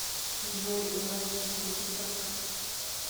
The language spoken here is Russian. джой у элайджи вуда есть оскар